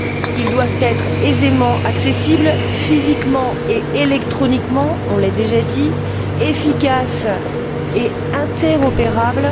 Ils doivent être aisément accessibles, physiquement et électroniquement, on l'a déjà dit, efficaces et interopérables.